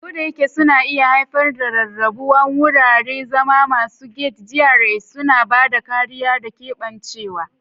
Kodayake suna iya haifar da rarrabuwa, wuraren zama masu gated (GRAs) suna ba da kariya da keɓancewa.